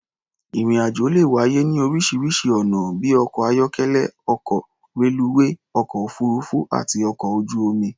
Ìrìn-àjò le wáyé ní oríṣiŕṣi ọ̀nà bí i ọkọ̀-ayọ́kélẹ́, ọkọ̀, reluwé, ọkọ̀-òfuururú àti ọkọ̀ ojú-omi.